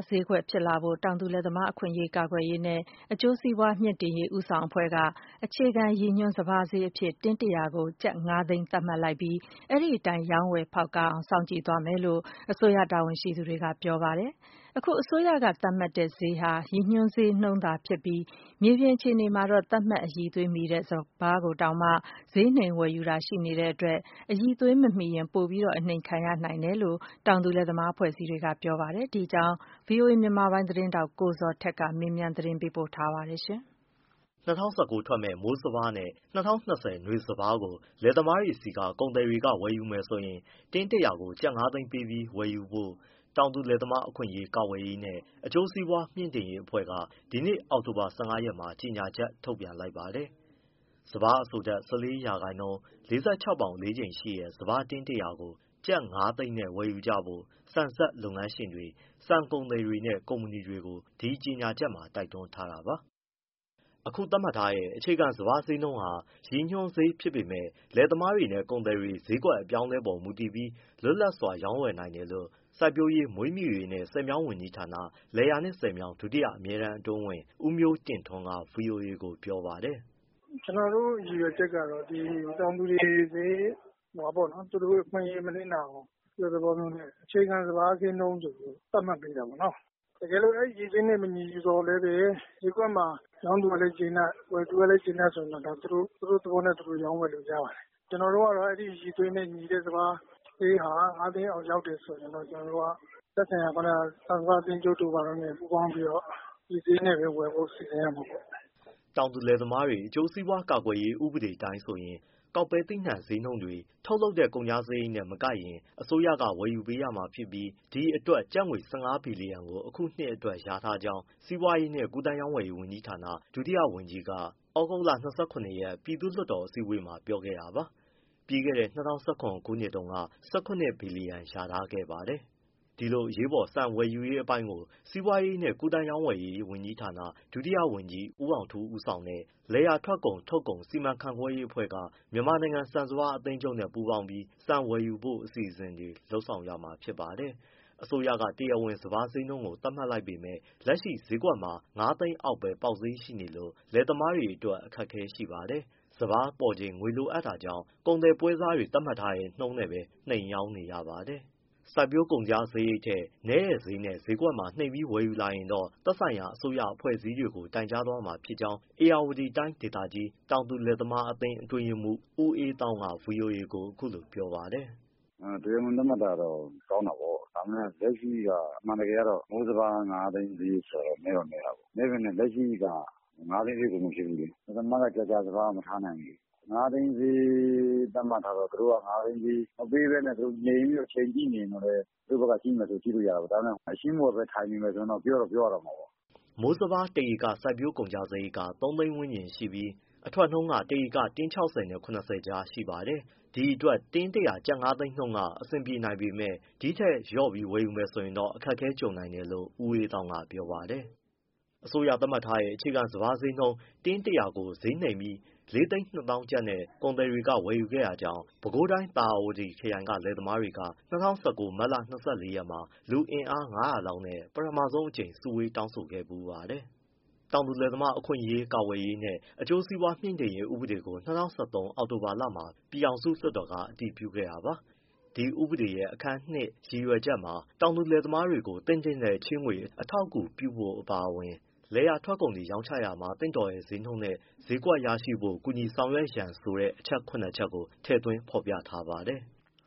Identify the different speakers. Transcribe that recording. Speaker 1: ဈေးကွက် ဖြစ်လာဖို့အတွက် တောင်သူလယ်သမား အခွင့်အရေး ကာကွယ်ရေးနှင့် အကျိုးစီးပွား မြှင့်တင်ရေး ဦးဆောင်အဖွဲ့က အခြေခံရည်ညွှန်း စပါးဈေးကို တင်းတရာ ကျပ်ငါသိန်း သတ်မှတ်လိုက်ပြီး အဲဒီအတိုင်း ရောင်းဝယ်ဖောက်ကားအောင် စောင့်ကြည့်သွားမယ်လို့ အစိုးရတာဝန်ရှိသူတွေက ပြောပါတယ်။ အခု အစိုးရကသတ်မှတ်တဲ့ဈေးဟာ ရည်ညွှန်းဈေးနှုန်းသာဖြစ်ပြီး မြေပြင်အခြေအနေမှာတော့ သတ်မှတ်အရည်အသွေးမီတဲ့ စပါးကိုတောင် ဈေးနှိမ်ဝယ်ယူတာ ရှိနေတဲ့အတွက် အရည်အသွေးမမီရင် ပိုအနှိမ်ခံရနိုင်တယ်လို့ တောင်သူလယ်သမား အဖွဲ့အစည်းတွေက ပြောပါတယ်။ ဒီအကြောင်း ဗွီအိုအေ မြန်မာပိုင်းသတင်းထောက် ကိုဇော်ထက်က မေးမြန်းပေးပို့ထားပါတယ်။ ၂
Speaker 2: ၀၁၉ ထွက်မယ့်မိုးစပါးနဲ့ ၂၀၂၀ နွေစပါးဈေးကို လယ်သမားတွေဆီက ကုန်သည်တွေက ဝယ်ယူမယ်ဆိုရင် တင်း ၁၀၀ ကို ကျပ်ငါးသိန်းပေးပြီး ဝယ်ယူဖို့ တောင်သူလယ်သမား အခွင့်အရေး ကာကွယ်ရေးနှင့် အကျိုးစီးပွား မြှင့်တင်ရေးအဖွဲ့က ဒီနေ့ အောက်တိုဘာ ၁၅ရက်မှာ ကြေညာချက် ထုတ်ပြန်လိုက်ပါတယ်။ စပါးအစိုဓာတ် ၁၄% ၊ ၄၆ပေါင်အလေးချိန်ရှိတဲ့ စပါးတင်း ၁၀၀ ကို ကျပ်ငါးသိန်းနဲ့ အရောင်းအဝယ် လုပ်ကြဖို့ ဆန်စက်လုပ်ငန်းရှင်တွေ၊ ဆန်ကုန်သည်တွေနဲ့ ကုမ္ပဏီတွေကို ဒီကြေညာချက်မှာ တိုက်တွန်းထားတာပါ။ အခုသတ်မှတ်ထားတဲ့ အခြေခံစပါးဈေးနှုန်းဟာ ရည်ညွှန်းဈေး ဖြစ်ပေမဲ့ လယ်သမားနဲ့ ကုန်သည် ဈေးကွက်အပြောင်းအလဲအပေါ် မူတည်ပြီး လွတ်လပ်စွာ ရောင်းဝယ်နိုင်တယ်လို့ စိုက်ပျိုးရေး၊ မွေးမြူရေးနှင့် ဆည်မြောင်းဝန်ကြီးဌာန၊ လယ်ယာနှင့်ဆည်မြောင်း ဒုတိယအမြဲတမ်းအတွင်းဝန် ဦးမျိုးတင့်ထွန်းက ဗွီအိုအေကို ပြောပါတယ်
Speaker 3: ။ “ ကျနော်တို့ ရည်ရွယ်ချက်ကတော့ တောင်သူတွေ သူတို့အခွင့်အရေး မနစ်နာအောင် သဘောမျိုးနဲ့ အခြေခံစပါးဈေးနှုန်းကို သတ်မှတ် ပေးတာပေါ့နော်။ တကယ်လို့ အဲဒီဈေးနဲ့ မညီသော်လည်းပဲ ဈေးကွက်မှာ ရောင်းသူကလည်းကျေနပ်၊ ဝယ်သူကလည်း ကျေနပ်ဆိုရင်တော့ ဒါ သူတို့သဘောနဲ့ ရောင်းဝယ်လို့ ရပါတယ်။ ကျနော်တု့ိကတော့ အဲဒီ အရည်အသွေးနဲ့ ညီတဲ့စပါးဈေးဟာ ၅သိန်းအောက် ရောက်တယ်ဆိုရင် ကျနော်တို့က သက်ဆိုင်ရာ ဆန်စပါးအသင်းချုပ်တို့ ဘာတို့နဲ့ ပူးပေါင်းပြီးတော့ ဒီဈေး နဲ့ဝယ်ဖို့ စီစဉ်ရမှာပေါ့
Speaker 2: ။” တောင်သူလယ်သမား အကျိုးစီးပွား ကာကွယ်ရေး ဥပဒေအတိုင်းဆိုရင် ကောက်ပဲသီးနှံ ဈေးနှုန်းတွေ ထုတ်လုပ်တဲ့ ကုန်ကျစရိတ်နဲ့ မကိုက်ရင် အစိုးရက ဝယ်ယူပေးရမှာဖြစ်ပြီး ဒီအတွက်ကျပ်ငွေ ၁၅ဘီလီယံကို အခုနှစ်အတွက် လျာထားကြောင်း စီးပွားရေးနှင့် ကူးသန်းရောင်းဝယ်ရေး ဝန်ကြီးဌာန ဒုတိယဝန်ကြီးက သြဂုတ်လ ၂၇ရက် ပြည်သူ့လွှတ်တော် အစည်းအဝေးမှာ ပြောခဲ့တာပါ။ ပြီးခဲ့တဲ့ ၂၀၁၇ ခုနှစ်တုန်းကတော့ ၁၇ ဘီလီယံ လျာထားခဲ့ပါတယ်။ ဒီလိုအရေးပေါ် ဆန်ဝယ်ယူရေးအပိုင်းကို စီးပွားကူးသန်းဝန်ကြီးဌာန ဒုတိယဝန်ကြီး ဦးအောင်ထူးဦးဆောင်တဲ့ လယ်ယာထွက်ကုန်၊ ထုတ်ကုန် စီမံခန့်ခွဲရေးအဖွဲ့က မြန်မာနိုင်ငံ ဆန်စပါး အသင်းချုပ်နဲ့ ပူးပေါင်းပြီး ဆန်ဝယ်ယူဖို့ အစီအစဉ်တွေ လုပ်ဆောင်ရမှာဖြစ်ပါတယ်။ အစိုးရကတရားဝင် စပါးဈေးနှုန်းကို သတ်မှတ်လိုက်ပေမဲ့ လက်ရှိဈေးကွက်မှာ ငါးသိန်းဈေးအောက်ပဲ ပေါက်ဈေးရှိနေလို့ လယ်သမားတွေအတွက် အခက်အခဲ ရှိပါတယ်။ စပါးပေါ်ချိန် ငွေလိုအပ်နေတာကြောင့် ကုန်သည်၊ ပွဲစားတွေသတ်မှတ်တဲ့နှုန်းနဲ့ပဲ နှိမ်ရောင်းနေရပါတယ်။ စိုက်ပျိုးကုန်ကျစရိတ်ထက် နည်းတဲ့ဈေးနဲ့ ဈေးကွက်မှာ နှိမ်ပြီးဝယ်ယူလာရင်တော့ သက်ဆိုင်ရာအစိုးရ အဖွဲ့အစည်းတွေကို တိုင်ကြားသွားမှာဖြစ်ကြောင်း ဧရာဝတီတိုင်းဒေသကြီး တောင်သူ၊ လယ်သမားအသင်း အတွင်းရေးမှူး ဦးအေးသောင်းက ဗွီအိုအေကို အခုလိုပြောပါတယ်။ “ အင်း တရားဝင် သတ်မှတ်တာတော့ ကောင်းတာပေါ့။ ဒါပေမဲ့ လက်ရှိက အမှန်တကယ်ကတော့ မိုးစပါး
Speaker 3: ငါးသိန်းဆိုတာ နည်းတော့ နည်းတာပေါ့။ နည်းပေမဲ့ လက်ရှိက ငါးသိန်းဈေးကို မဖြစ်ဘူးလေ။ လယ်သမားကလည်း စပါးက ကြာကြာ မထားနိုင်ဘူးလေ။ ငါးသိန်းဈေး သတ်မှတ်ထားတော့ သူတို့ က ငါးသိန်းဈေး မပေးဘဲ ချိန်ကြည့်နေမယ်ဆိုရင် သူတို့ဘက်က ကြည့်လို့ရတာပေါ့။ ဒါပေမဲ့ အလျင်းမဝယ်ဘဲ ထိုင်နေမယ် ဆိုရ
Speaker 2: င်တော့ ပြောတော့ ပြောရတော့မှာပေါ့။” မိုးစပါး ၁ဧက စိုက်ပျိုး ကုန်ကျစရိတ်က သုံးသိန်းဝန်းကျင်ရှိပြီး အထွက်နှုန်းက ၁ဧက တင်း၆၀နဲ့ ၇၀ ကြားရှိပါတယ်။ ဒီအတွက် တင်း ၁၀၀ ကျပ်ငါးသိန်းနှုန်းက အဆင်ပြေနိုင်ပေမဲ့ ဒီထက်လျော့ပြီး ဝယ်မယ်ဆိုရင်တော့ အခက်အခဲကြုံနို်င်တယ်လို့ ဦးအေးသောင်းက ပြောပါတယ်။ အစိုးရသတ်မှတ်ထားတဲ့ အခြေခံစပါးဈေး တင်း ၁၀၀ကို ဈေးနှိမ်ပြီး ၄၂၀၀၀၀ကျပ်နဲ့ ကုန်သည်တွေက ဝယ်ယူခဲ့တာကြောင့် ပဲခူးတိုင်း သာယာဝတီခရိုင်က လယ်သမားတွေဟာ ၂၀၁၉ မတ်လ ၂၄ရက်မှာ လူအင်အား ၅၀၀ လောက်နဲ့ ပထမဆုံးအကြိမ် စုဝေးတောင်းဆိုခဲ့ဖူးပါတယ်။ တောင်သူလယ်သမား အခွင့်အရေး ကာကွယ်ရေးနှင့် အကျိုးစီးပွားမြှင့်တင်ရေး ဥပဒေကို ၂၀၁၃ အောက်တိုဘာလမှာ ပြည်ထောင်စုလွှတ်တော်က အတည်ပြုခဲ့တာပါ။ ဒီဥပဒေရဲ့အခန်း ရည်ရွယ်ချက်မှာ တောင်သူလယ်သမားတွေကို သင့်တင့်တဲ့ချေးငွေ အထောက်အကူပြုဖို့ အပါအဝင် လယ်ယာ ထုတ်ကုန်တွေ ရောင်းချတာမှာ သင့်တော်တဲ့ ဈေးနှုန်းနဲ့ ဈေးကွက် ရရှိဖို့ ကူညီဆောင်ရွက်ရန်ဆိုတဲ့ အချက် ၇ချက်ကို ထည့်သွင်း ဖော်ပြထားပါတယ်။